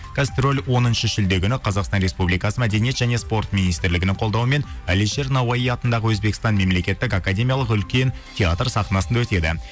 гастроль оныншы шілде күні қазақстан республикасы мәдениет және спорт министрлігінің қолдауымен әлишер науаи атындағы өзбекстан мемлекеттік академиялық үлкен театр сахнасында өтеді